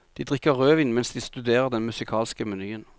De drikker rødvin mens de studerer den musikalske menyen.